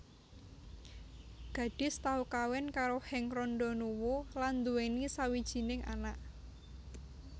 Gadis tau kawin karo Henk Rondonuwu lan duweni sawijining anak